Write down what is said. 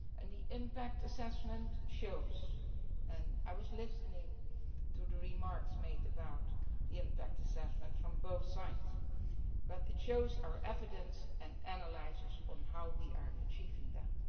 The impact assessment sets out and I was listening to the remarks made about the impact assessment from both sides our evidence and analysis on how we are achieving that.